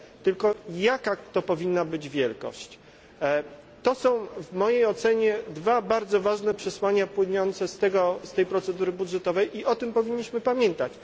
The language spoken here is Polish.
tylko jaka powinna być wielkość kwoty. To są w mojej ocenie dwa bardzo ważne przesłania płynące z tej procedury budżetowej i o tym powinniśmy pamiętać.